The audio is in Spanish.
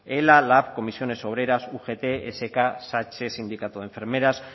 ela lab comisiones obreras ugt esk satse sindicato de enfermeras